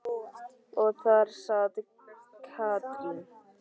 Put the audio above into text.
Og þar sat Katrín.